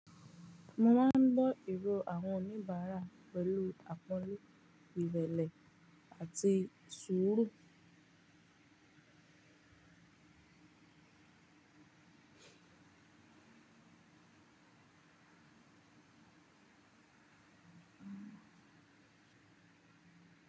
Mo máa ń gbọ́ ero àwọn oníbàárà pẹ̀lú àpọ́nle, ìrẹ̀lẹ̀ àti sùúrù.